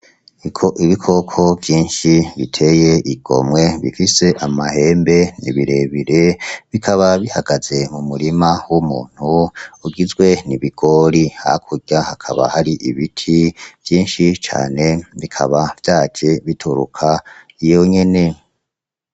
Ibikoko vyinshi biteye igomwe bifise amahembe , ni birebire , bikaba bihagaze mu murima w’umuntu ugizwe n’ibigori , hakurya hakaba hari ibiti vyinshi cane bikaba vyaje bituruka iyo nyene.